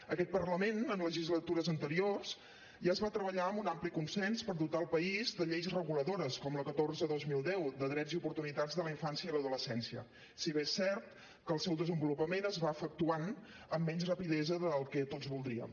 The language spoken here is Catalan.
en aquest parlament en legislatures anteriors ja es va treballar amb un ampli consens per dotar el país de lleis reguladores com la catorze dos mil deu de drets i oportunitats de la infància i l’adolescència si bé és cert que el seu desenvolupament es va efectuant amb menys rapidesa del que tots voldríem